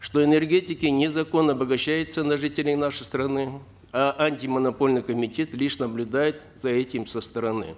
что энергетики незаконно обогащаются на жителях нашей страны а антимонопольный комитет лишь наблюдает за этим со стороны